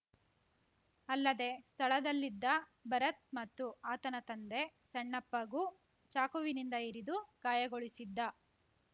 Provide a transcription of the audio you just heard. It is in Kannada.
ಅಲ್ಲದೆ ಸ್ಥಳದಲ್ಲಿದ್ದ ಭರತ್‌ ಮತ್ತು ಆತನ ತಂದೆ ಸಣ್ಣಪ್ಪಗೂ ಚಾಕುವಿನಿಂದ ಇರಿದು ಗಾಯಗೊಳಿಸಿದ್ದ